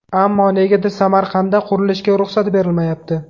Ammo negadir Samarqandda qurilishga ruxsat berilmayapti.